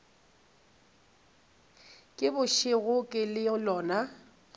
ke bošego le ke lona